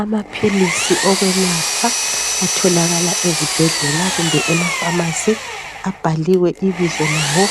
Amaphilisi okwelapha, atholakala ezibhedlela kumbe emafamasi abhaliwe ibizo lawo